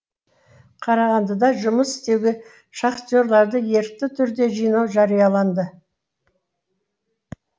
қарағандыда жұмыс істеуге шахтерларды ерікті түрде жинау жарияланды